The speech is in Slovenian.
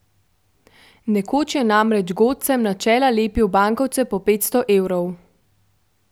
Nekoč je namreč godcem na čela lepil bankovce po petsto evrov.